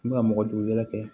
I bɛ ka mɔgɔdugu wɛrɛ kɛ